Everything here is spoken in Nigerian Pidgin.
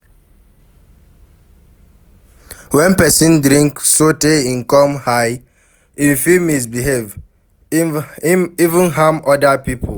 When person drink sotey im come high, im fit misbehave, even harm oda pipo